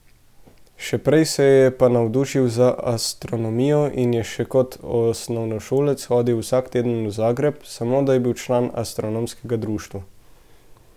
Še prej se je pa navdušil za astronomijo in je še kot osnovnošolec hodil vsak teden v Zagreb, samo da je bil član astronomskega društva.